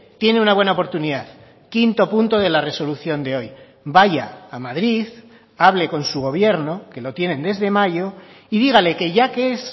tiene una buena oportunidad quinto punto de la resolución de hoy vaya a madrid hable con su gobierno que lo tienen desde mayo y dígale que ya que es